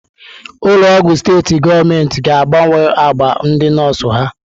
Ụlọ ọgwụ steetị gọọmenti ga-agbanwe agba ndị nọọsụ ha.